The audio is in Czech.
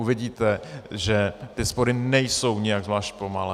Uvidíte, že ty spory nejsou nijak zvlášť pomalé.